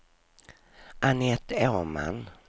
Anette Åman